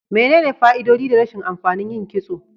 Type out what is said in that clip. Menene fa'idodi da rashin amfani yin kitso?